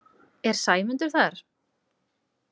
„Er Sæmundur þar?“